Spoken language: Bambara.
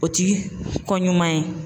O ti ko ɲuman ye